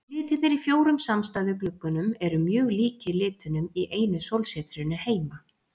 Litirnir í fjórum samstæðu gluggunum eru mjög líkir litunum í einu sólsetrinu heima.